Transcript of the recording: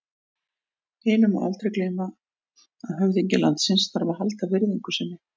Hinu má aldrei gleyma að höfðingi landsins þarf að halda virðingu sinni.